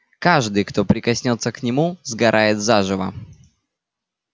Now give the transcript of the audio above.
каждый кто прикоснётся к нему сгорает заживо